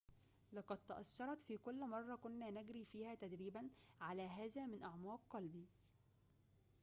لقد تأثرت في كل مرة كنا نجري فيها تدريبًا على هذا من أعماق قلبي